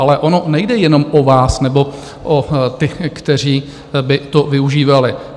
Ale ono nejde jenom o vás nebo o ty, kteří by to využívali.